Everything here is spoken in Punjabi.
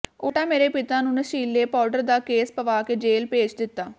ਉਲਟਾ ਮੇਰੇ ਪਿਤਾ ਨੂੰ ਨਸ਼ੀਲੇ ਪਾਉਡਰ ਦਾ ਕੇਸ ਪਵਾ ਕੇ ਜੇਲ ਭੇਜ ਦਿਤਾ